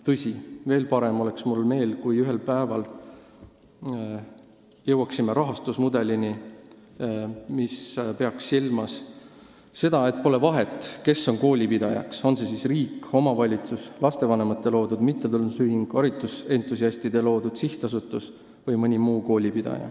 Tõsi, veel parem oleks mu meel, kui me ühel päeval jõuaksime rahastusmudelini, mis peaks silmas seda, et pole vahet, kes on koolipidaja, on see siis riik, omavalitsus, lastevanemate loodud mittetulundusühing, haridusentusiastide loodud sihtasutus või keegi muu.